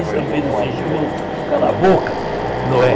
Aí São Pedro se encheu e falou, cala a boca, Noé?